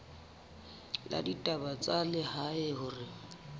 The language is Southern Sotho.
la ditaba tsa lehae hore